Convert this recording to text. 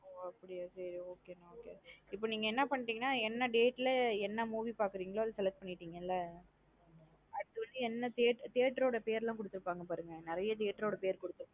ஒ அப்டியா சேரி okay நா இப்ப நீங்க பண்றிங்கனா என்ன date லா என் movie பாக்குறீங்கலூ select பண்னிடீங்காள. அடுத்து வந்து என்ன theatre ஓட பேர் லாம் குடுத்திருபாங்க பாருங்க நறைய theatre ஓட பேர் லாம் குடுத்திருபங்க.